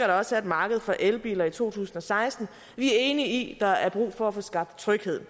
der også er et marked for elbiler i to tusind og seksten vi er enige i at der er brug for at få skaffet tryghed